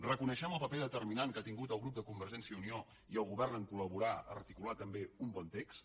reconeixem el paper determinant que han tingut el grup de convergència i unió i el govern a col·cular també un bon text